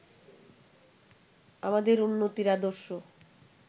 আমাদের উন্নতির আদর্শ